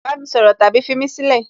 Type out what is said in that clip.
bami soro tabi fimí sílẹ̀!